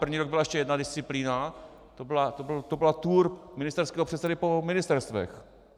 První rok byla ještě jedna disciplína, to byla tour ministerského předsedy po ministerstvech.